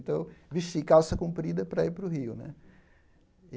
Então, vesti calça comprida para ir para o Rio né.